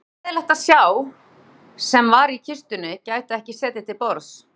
Auðvitað leiðinlegt að sá sem var í kistunni gæti ekki setið til borðs